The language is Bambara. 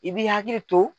I b'i hakili to